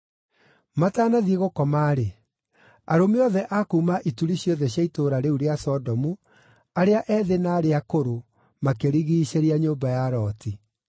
Matanathiĩ gũkoma-rĩ, arũme othe a kuuma ituri ciothe cia itũũra rĩu rĩa Sodomu, arĩa ethĩ na arĩa akũrũ, makĩrigiicĩria nyũmba ya Loti.